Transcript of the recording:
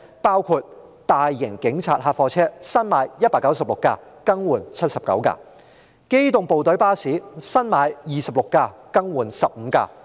當中大型警察客貨車，新置196輛，更換79輛；機動部隊巴士，新置26輛，更換15輛。